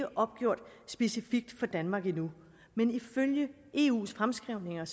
opgjort specifikt for danmark endnu men ifølge eus fremskrivninger